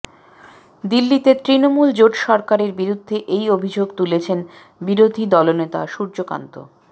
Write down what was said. দিল্লিতে তৃণমূল জোট সরকারের বিরুদ্ধে এই অভিযোগ তুলেছেন বিরোধী দলনেতা সূর্যকান্ত